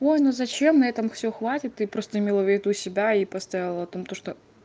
ой ну зачем на этом все хватит ты просто имела в виду себя и поставила там то что